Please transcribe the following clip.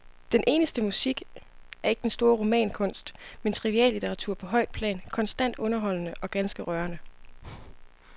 Den eneste musik er ikke den store romankunst, men triviallitteratur på højt plan, konstant underholdende og ganske rørende.